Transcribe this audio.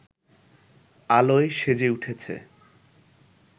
আলোয় সেজে উঠেছে